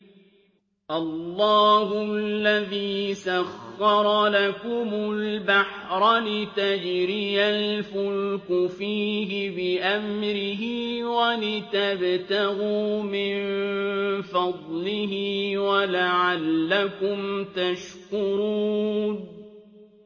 ۞ اللَّهُ الَّذِي سَخَّرَ لَكُمُ الْبَحْرَ لِتَجْرِيَ الْفُلْكُ فِيهِ بِأَمْرِهِ وَلِتَبْتَغُوا مِن فَضْلِهِ وَلَعَلَّكُمْ تَشْكُرُونَ